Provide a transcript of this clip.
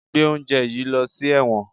Gbé oúnjẹ yìí lọ sí ẹ̀wọ̀n!